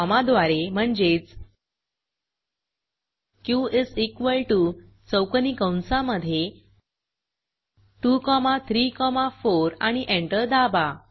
कॉमाद्वारे म्हणजेच Q is equal to चौकोनी कंसामधे 2 कॉमा 3 कॉमा 4 आणि एंटर दाबा